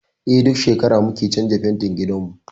Eh, duk shekara muke canza fentin gidanmu.